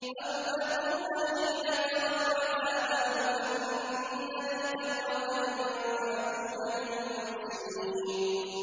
أَوْ تَقُولَ حِينَ تَرَى الْعَذَابَ لَوْ أَنَّ لِي كَرَّةً فَأَكُونَ مِنَ الْمُحْسِنِينَ